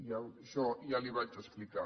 això ja li ho vaig explicar